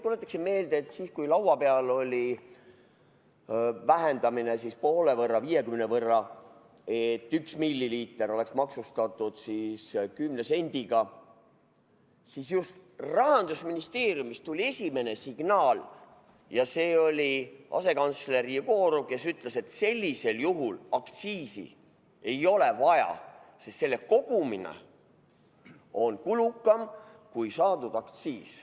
Tuletaksin meelde, et siis, kui laua peal oli vähendamine poole võrra, 50% võrra, et üks milliliiter oleks maksustatud 10 sendiga, siis just Rahandusministeeriumist tuli esimene signaal ja see oli asekantsler Jegorov, kes ütles, et sellisel juhul aktsiisi ei ole vaja, sest selle kogumine on kulukam kui saadud aktsiis.